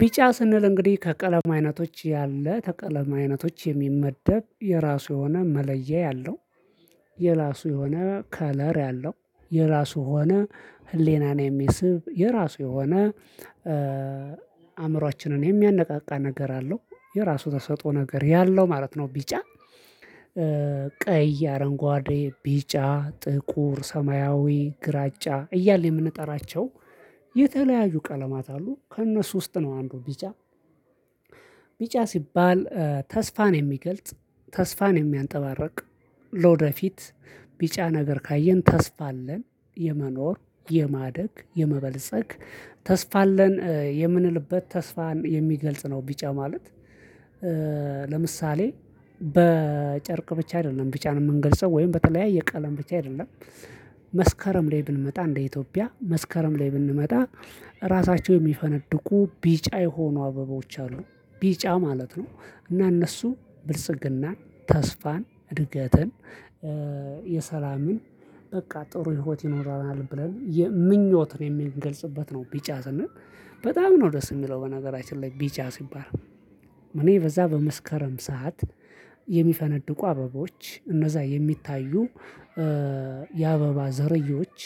ቢጫ ስንል እንግዲህ ከቀለም አይነቶች ያለ ተቀለም አይነቶች የሚመደብ የራሱ የሆነ መለያ ያለው የራሱ የሆነ 'ከለር' ያለው የራሱ የሆነ ህሊናን የሚስብ የራሱ የሆነ አእምሮአችንን የሚያነቃቃ ነገር አለው የራሱ ተሰጦ ነገር ያለው ማለት ነው ቢጫ። ቀይ፣ አረንጓዴ፣ ቢጫ፣ ጥቁር፣ ሰማያዊ፣ ግራጫ እያልን የምንጠራቸው የተለያዩ ቀለማት አሉ። ከእነሱ ውስጥ ነው አንዱ ቢጫ። ቢጫ ሲባል ተስፋን የሚገልጽ ተስፋን የሚያንፀባርቅ ለወደፊት ቢጫ ነገር ካየን ተስፋ አለን የመኖር፣ የማደግ፣ የመበልጸግ ተስፋ አለን የምንልበት ተስፋን የሚገልጽ ነው ቢጫ ማለት። ለምሳሌ በጨርቅ ብቻ አይደለም ቢጫን የምንገልጸው ወይም በተለያየ ቀለም ብቻ አይደለም ላይ ብንመጣ እንደ ኢትዮጵያ መስከረም ላይ ብንመጣ ራሳቸው የሚፈነድቁ ቢጫ የሆኑ አበቦች አሉ። ቢጫ ማለት ነው እና እነሱ ብልጽግናን፣ ተስፋን፣ እድገትን የሰላምን በቃ ጥሩ ህይወት ይኖረናል ብለን የምኞትን የምንገልጽበት ነው ቢጫ ስንል። በጣም ነው ደስ የሚለው በነገራችን ላይ ቢጫ ሲባል እኔ በዛ በመስከረም ሰዓት የሚፈነድቁ አበባዎች እነዛ የሚታዩ የአበባ ዝርያዎች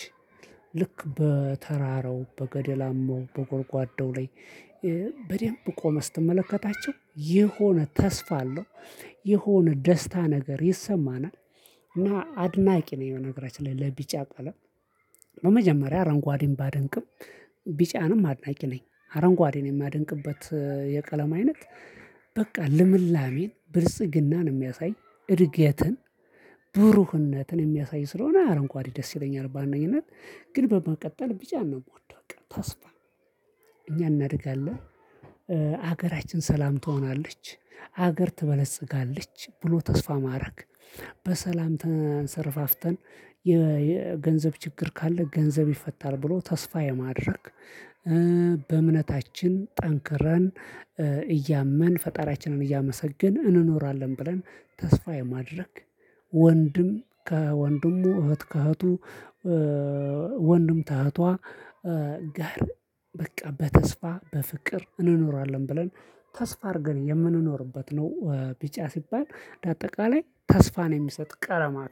ልክ በተራራው በገደላማው በጎድጓዳው ላይ በደንብ ቆመህ ስትመለከታቸው የሆነ ተስፋ አለው። የሆነ ደስታ ነገር ይሰማናል። እና አድናቂ ነኝ በነገራችን ላይ ለቢጫ ቀለም። በመጀመሪያ አረንጓዴን ባደንቅም ቢጫንም አድናቂ ነኝ። አረንጓዴን የማደንቅበት የቀለም አይነት በቃ ልምላሜን ብርጽግናን የሚያሳይ እድገትን ብሩህነትን የሚያሳይ ስለሆነ አረንጓዴ ደስ ይለኛል በዋነኝነት ግን በመቀጠል ቢጫ ነው የምወደው ተስፋ እኛ እናድጋለን ሀገራችን ሰላም ትሆናለች ሀገር ትበለጽጋለች ብሎ ተስፋ ማድረግ በሰላም ተንሰረፋፍተን የገንዘብ ችግር ካለ ገንዘብ ይፈታል ብሎ ተስፋ የማድረግ በእምነታችን ጠንክረን እያመን ፈጣሪያችንን እያመሰገን እንኖራለን ብለን ተስፋ የማድረግ ወንድም ከወንድሙ እህት ከእህቱ ወንድም ከእህቷ ጋር በቃ በተስፋ በፍቅር እንኖራለን ብለን ተስፋ አድርገን የምንኖርበት ነው ቢጫ ሲባል ለአጠቃላይ ተስፋን የሚሰጥ ቀለማ ነው።